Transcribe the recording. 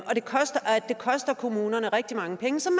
og det koster koster kommunerne rigtig mange penge som